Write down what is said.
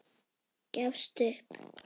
Gafst upp.